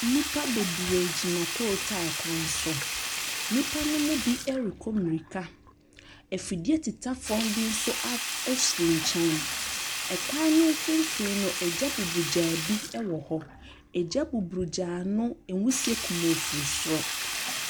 Nnipa bebree gyina coal tar kwan so. Nnipa no mu bi rekɔ mmirika. Afidie tetafoɔ bi nso ap si nkyɛn. Kwan no mfimfini no, ɛgya bubugyaa bi wɔ hɔ. Ɛgya bubugyaa no, nwisie kumoo firi soro.